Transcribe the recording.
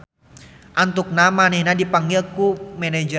Antukna manehna dipanggil ku manajerna.